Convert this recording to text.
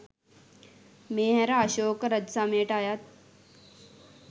මේ හැර අශෝක රජසමයට අයත්